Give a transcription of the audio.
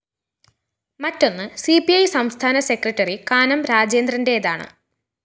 മറ്റൊന്ന് C P I സംസ്ഥാന secretary Kanam രാജേന്ദ്രന്റേതാണ്